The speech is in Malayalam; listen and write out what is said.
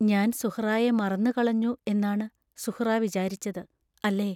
ഞാൻ സുഹ്റായെ മറന്നു കളഞ്ഞു എന്നാണ് സുഹ്റാ വിചാരിച്ചത്, അല്ലേ?